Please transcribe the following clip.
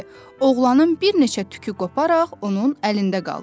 oğlanın bir neçə tükü qoparaq onun əlində qaldı.